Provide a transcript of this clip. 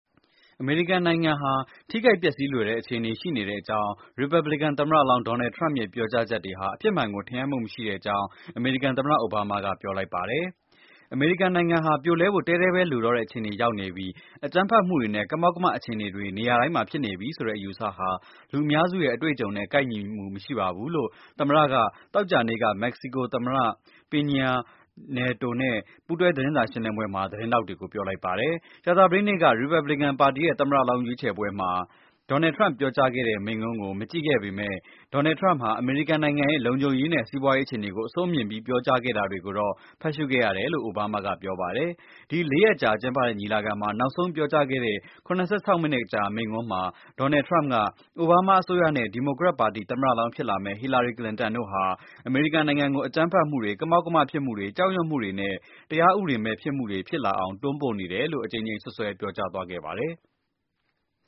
အမေရိကန်နိုင်ငံဟာ ထိခိုက် ပျက်စီးလွယ်တဲ့ အခြေအနေ ရှိနေတဲ့အကြောင်း ရီပတ်ဘလစ်ကန် သမ္မတလောင်း ဒေါ်နယ်ထရမ့်ရဲ့ ပြောကြားချက်တွေဟာ အဖြစ်မှန်ကို ထင်ဟပ်မှုမရှိတဲ့အကြောင်း အမေရိကန် သမ္မတ အိုဘားမားက ပြောလိုက်ပါတယ်။ အမေရိကန်နိုင်ငံဟာ ပြိုလဲဖို့ တည်းတည်းပဲ လိုတော့တဲ့ အခြေအနေ ရောက်နေပြီ၊ အကြမ်းဖက်မှုတွေနဲ့ ကမောက်ကမ အခြေအနေတွေ နေရာတိုင်းမှာ ဖြစ်နေပြီ ဆိုတဲ့ အယူအဆဟာ လူအများစုရဲ့ အတွေ့အကြုံနဲ့ ကိုက်ညီမှု မရှိပါဘူး လို့ သမ္မတက သောကြာနေ့က မက္ကဆီကို သမ္မတ Peña Nieto နဲ့ ပူးတွဲ သတင်းစာ ရှင်းလင်းပွဲမှာ သတင်းထောက်တွေကို ပြောပါတယ်။ ကြာသပတေးနေ့က ရီပတ်ဘလစ်ကန် ပါတီရဲ့ သမ္မတလောင်း ရွေးုချယ်ပွဲ မှာ ဒေါ်နယ်ထရမ့် ပြောခဲ့တဲ့ မိန့်ခွန်းကို မကြည့်ခဲ့ပေမယ့်၊ ဒေါ်နယ်ထရမ့်ဟာ အမေရိကန် နိုင်ငံရဲ့ လုံခြုံရေးနဲ့ စီးပွားရေး အခြေအနေကို အဆိုးမြင်ပြီး ပြောကြား ခဲ့တာတွေကိုတော့ ဖတ်ရှုခဲ့ရတယ်လို့ အိုဘားမားက ပြောပါတယ်။ ဒီ လေးရက်ကြာ ကျင်းပတဲ့ ညီလာခံမှာ နောက်ဆုံးပြောကြားတဲ့ ၇၆ မိနစ်ကြာ မိန့်ခွန်းမှာ ဒေါ်နယ်ထရမ့်က အိုဘားမား အစိုးရနဲ့၊ ဒီမိုကရက် ပါတီ သမ္မတလောင်း ဖြစ်လာမယ့် ဟီလာရီ ကလင်တန်တို့ဟာ အမေရိကန် နိုင်ငံကို အကြမ်းဖက်မှုတွေ၊ ကမောက်ကမဖြစ်မှုတွေ၊ ကြောက်ရွံ့မှုနဲ့ တရားဥပဒေ မဲ့မှုတွေ ဖြစ်အောင် တွန်းပို့နေတယ်လို့ အကြိမ်ကြိမ် စွပ်စွဲ ပြောကြားသွားခဲ့ပါတယ်။